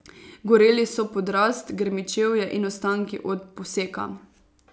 Goreli so podrast, grmičevje in ostanki od poseka.